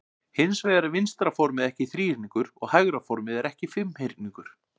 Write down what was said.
Hins vegar er vinstra formið ekki þríhyrningur og hægra formið er ekki fimmhyrningur.